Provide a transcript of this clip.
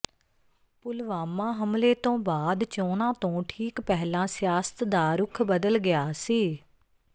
ਪੁਲਵਾਮਾ ਹਮਲੇ ਤੋਂ ਬਾਅਦ ਚੋਣਾਂ ਤੋਂ ਠੀਕ ਪਹਿਲਾਂ ਸਿਆਸਤ ਦਾ ਰੁਖ ਬਦਲ ਗਿਆ ਸੀ